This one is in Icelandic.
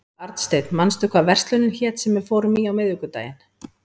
Arnsteinn, manstu hvað verslunin hét sem við fórum í á miðvikudaginn?